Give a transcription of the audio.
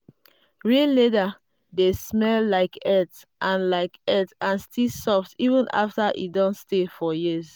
real leather dey smell like earth and like earth and still dey soft even after e don stay for years.